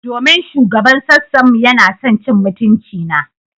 Domin shugaban sassan mu yana son cin mutuncina.